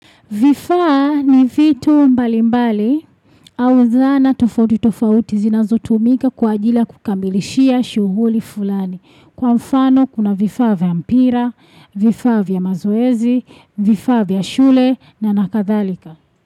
Vifa ni vitu mbali mbali au zana tofauti tofauti zinazo tumika kwa ajili kukamilishia shughuli fulani. Kwa mfano kuna vifa vya mpira, vifa vya mazoezi, vifa vya shule na nakadhalika.